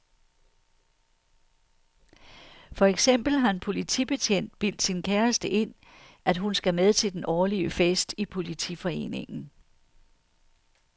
For eksempel har en politibetjent bildt sin kæreste ind, at hun skal med til den årlige fest i politiforeningen.